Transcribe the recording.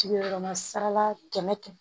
Sigiyɔrɔma saba kɛmɛ kɛmɛ